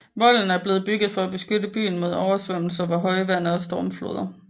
Volde er blevet bygget for at beskytte byen mod oversvømmelser ved højvande og stormfloder